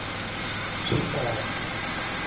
swihlahla